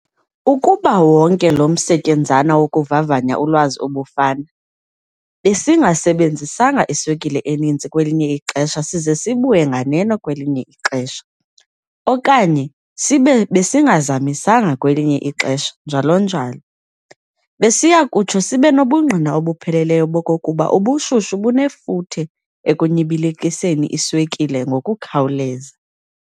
Ukuba wonke lo msetyenzana wokuvavanya ulwazi ubufana besingasebenzisanga iswekile eninzi kwelinye ixesha size sibuye nganeno kwelinye ixesha, okanye sibe besingazamisanga kwelinye ixesha njalo, njalo, besiyakutsho sibenobungqina obupheleleyo bokokuba ubushushu bunefuthe ekunyibilikiseni iswekile ngokukhawuleza.